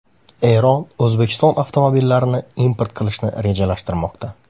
Eron O‘zbekiston avtomobillarini import qilishni rejalashtirmoqda.